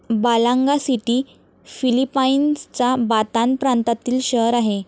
Balanga city फिलिपाईन्सचा Bataan प्रांतातील शहर आहे.